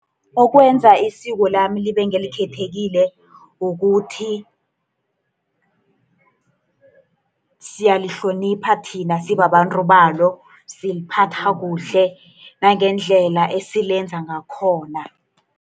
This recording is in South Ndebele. Okwenza isiko lami libe ngelikhethekile, kukuthi siyalihlonipha thina sibabantu balo, siliphatha kuhle, nangendlela esilenza ngakhona.